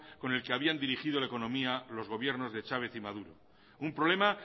con el que habían dirigido la economía los gobiernos de chávez y maduro un problema